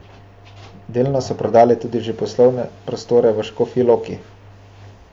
Delno so prodali tudi že poslovne prostore v Škofji Loki.